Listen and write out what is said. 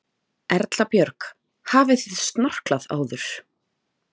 Erla Björg: Hafið þið snorklað áður?